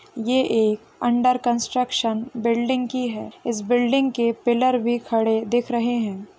ये एक under construction building की है इस बिल्डिंग के पिल्लर भी खड़े दिख रहे है।